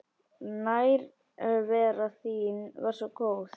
Nærvera þín var svo góð.